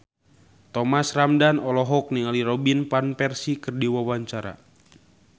Thomas Ramdhan olohok ningali Robin Van Persie keur diwawancara